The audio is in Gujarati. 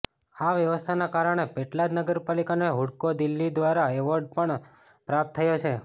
આ વ્યવસ્થાના કારણે પેટલાદ નગરપાલિકાને હુડકો દિલ્હી દ્વારા એવોર્ડ પણ પ્રાપ્ત થયો છે